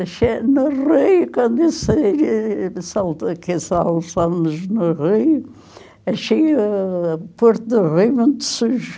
Achei no Rio, quando eu saí, que sal no Rio, achei o Porto do Rio muito sujo.